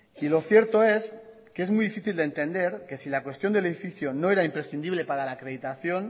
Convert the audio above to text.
y lo cierto es que es muy difícil de entender que si la cuestión del edificio no era imprescindible para la acreditación